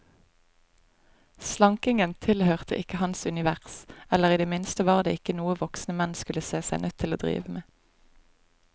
Slankingen tilhørte ikke hans univers, eller i det minste var det ikke noe voksne menn skulle se seg nødt til å drive med.